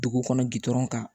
Dugu kɔnɔ gdɔrɔn kan